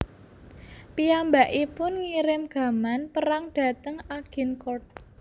Piyambakipun ngirim gaman perang dhateng Agincourt